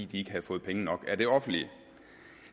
de ikke har fået penge nok af det offentlige